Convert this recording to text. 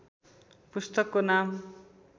पुस्तकको नाम